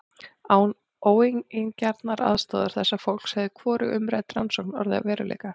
Án óeigingjarnrar aðstoðar þessa fólks hefði hvorug umrædd rannsókn orðið að veruleika.